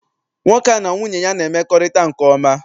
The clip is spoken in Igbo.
Nwoke a na nwunye ya na-emekorita nke oma.